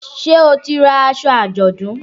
Ṣé o ti ra aṣọ àjọ̀dún?